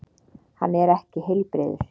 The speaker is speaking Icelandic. Hann er ekki heilbrigður.